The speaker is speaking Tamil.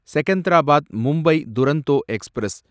செகந்தராபாத் மும்பை துரந்தோ எக்ஸ்பிரஸ்